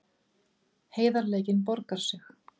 Heiðarleikinn borgaði sig